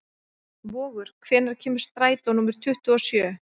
Vogur, hvenær kemur strætó númer tuttugu og sjö?